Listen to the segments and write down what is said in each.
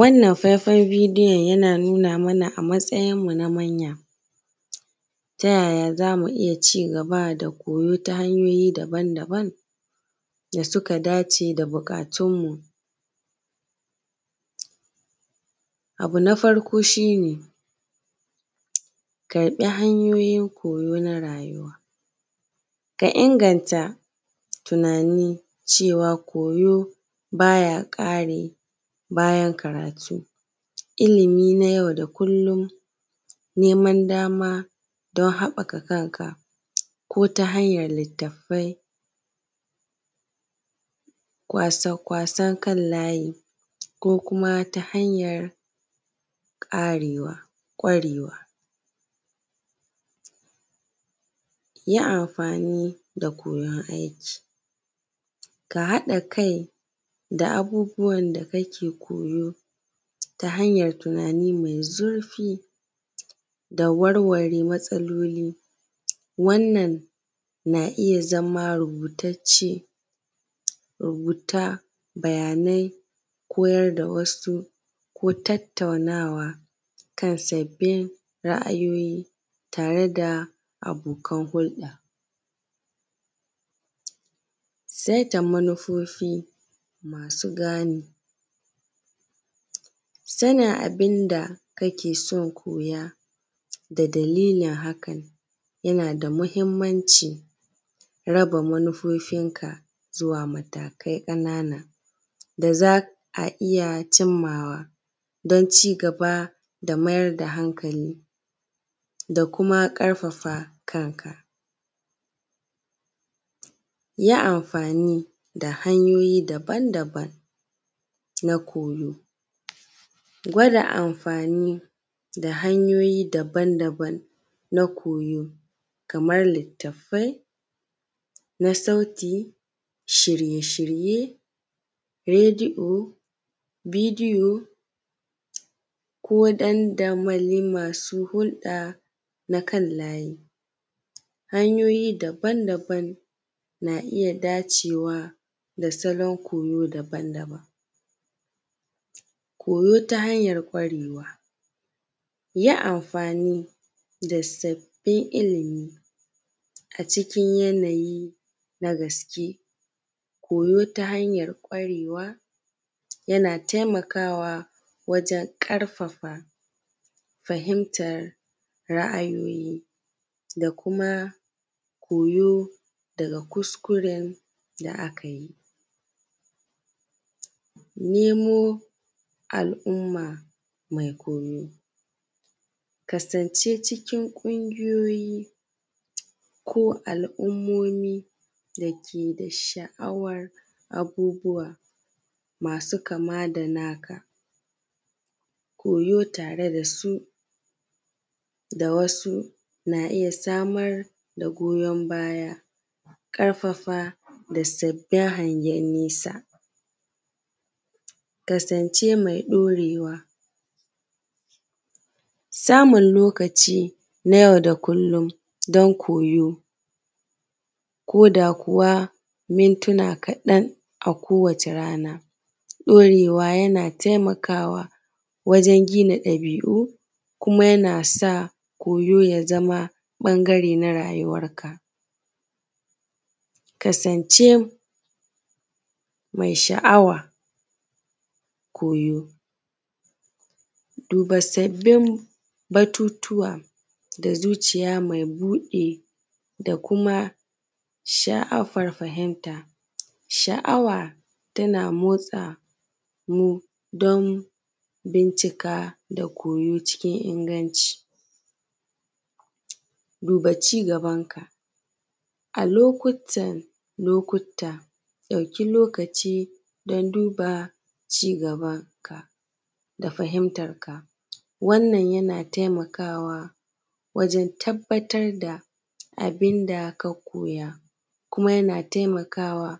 Wannan faifan bidiyon yana nuna mana a matsayinmu na manya ta yaya zamu iya cigaba da koyo ta hanyoyi daban daban da suka dace da buƙatun mu. Abu na farko shi ne ka bi hanyoyin koyo na rayuwa ka inganta tunani cewa koyo baya ƙare bayan karatu. Ilimi na yau da kullum, neman dama don haɓɓaka kanka ko ta hanyan littafai, wasan kan layi, ko kuma ta hanyan ƙwarewa. Yi amfani da koyan aiki ka haɗa kai da abubuwan da kake koyo ta hanyan tunani mai zurfi da warware matsaloli, wannan na iya zama rubutacce, rubuta bayanai koyar da wasu ko tattaunawa kan sabbin ra’ayoyi tare da abokan hulɗa. Saita manufofi masu gane sanin abin da kake son koya da dalilin hakan yana da muhinmanci. Raba manufofinka zuwa matakai ƙanana da za a iya cimmawa don cigaba da mayar da hankali da kuma ƙarfafa kanka. Yin amfani da hanyoyi daban daban na koyo, gwada amfani da hanyoyi daban daban na koyo kaman littafai na sauti, shirye shirye radiyo, bidiyo, ko ɗan damali masu hulda na kan layi, hanyoyi daban daban na iya dacewa da salon koyo daban daban. Koyo ta hanyan ƙwarewa. Yi amfani da sabbin ilimi a cikin yanayi na gaske koyo ta hanyar ƙwarewa yana taimakawa wajan ƙarfafa fahimtar ra’ayoyi da kuma koyo da kuskuren da aka yi. Nemo al’umma me koyo. Kasance cikin ƙungiyoyi ko al’ummomi da ke da sha’awan abubuwa masu kama da na ka. Koyo tare da su da wasu na iya samar da goyon baya, ƙarfafa da sabbin hangen nesa. Kasance mai ɗorewa, samun lokaci na yau da kullin don koyo ko da kuwa mintina kaɗan a kowace rana. Ɗorewa yana taimakawa wajan gina ɗabi'u kuma yana sa koyo ya zama ɓangare na rayuwarka. Kasance mai sha'awa koyo, duba sabbin batutuwa da zuciya mai buɗe da kuma sha’afar fahimta. Sha'awa na motsa mu don bincika da koyo cikin inganci. Duba cigaban ka. A lokuta dauki lokaci don duba cigabanka da fahintarka wannan yana taimakawa wajan tabbatar da abin da ka koya kuma yana taimakawa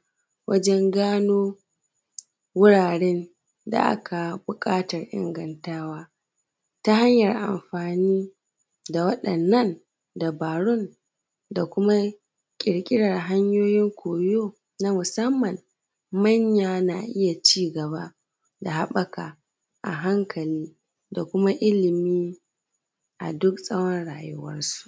wajan gano wuraren da aka buƙatar ingantawa ta hanyar amfani da waɗannan dabarun da kuma ƙirƙirar hanyoyin koyo na musamman manya na iya cigaba da haɓɓaka a hankali da kuma ilimi a duk tsawan rayuwarsu.